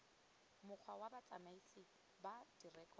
mokgwa wa botsamaisi ba direkoto